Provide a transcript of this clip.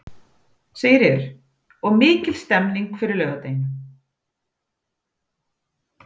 Sigríður: Og er mikil stemning fyrir laugardeginum?